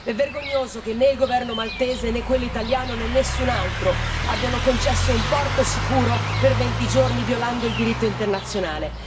È vergognoso che né il governo maltese, né quello italiano, né nessun altro abbiano concesso un porto sicuro per venti giorni, violando il diritto internazionale.